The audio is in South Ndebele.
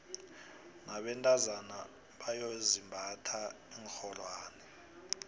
nabentazona boyaizimbatha iinxholwane